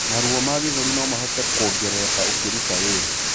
Maruo ma gĩthũri nomahote kuongerereka ukiruta wĩra